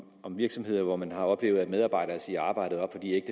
om virksomheder hvor man har oplevet at medarbejdere siger arbejdet op fordi